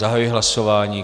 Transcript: Zahajuji hlasování.